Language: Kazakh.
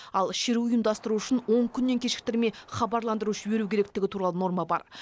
ал шеру ұйымдастыру үшін он күннен кешіктірмей хабарландыру жіберу керектігі туралы норма бар